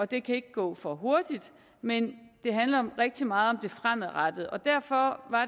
det kan ikke gå for hurtigt men det handler rigtig meget om det fremadrettede og derfor